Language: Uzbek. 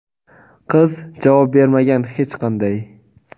qiz javob bermagan hech qanday.